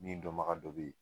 Min dɔmaga dɔ be yen